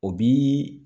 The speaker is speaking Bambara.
O bi